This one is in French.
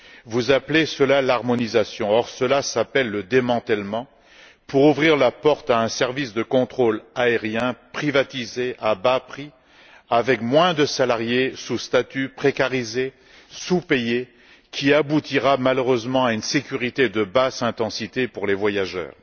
Vous appelez cela l'harmonisation, or cela s'appelle le démantèlement, pour ouvrir la porte à un service de contrôle aérien privatisé à bas prix, avec moins de salariés, sous statut précarisé et sous payés, qui aboutira malheureusement à un abaissement du niveau de sécurité pour les voyageurs.